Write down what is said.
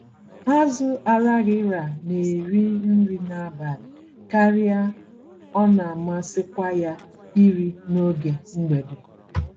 Azụ Araghịra na-eri nri n'abalị karịa ọnamasịkwa ya iri n'oge mgbede.